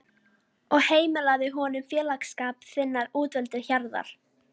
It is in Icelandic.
og heimilaðu honum félagsskap þinnar útvöldu hjarðar.